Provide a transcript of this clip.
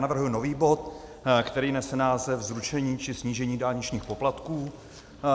Navrhuji nový bod, který nese název Zrušení či snížení dálničních poplatků.